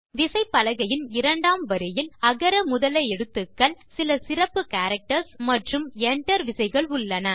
விசைப்பலகையின் இரண்டாம் வரியில் அகர முதல எழுத்துக்கள் சில சிறப்பு கேரக்டர்ஸ் மற்றும் Enter விசைகள் உள்ளன